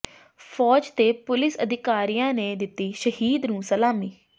ਫ਼ੌਜ ਤੇ ਪੁਲਿਸ ਅਧਿਕਾਰੀਆਂ ਨੇ ਦਿੱਤੀ ਸ਼ਹੀਦ ਨੂੰ ਸਲਾਮੀ